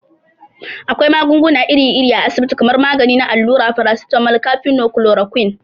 Akwai magunguna iri iri a asabiti kamar magani na allura, farasitamol, kafino, kulorakwin.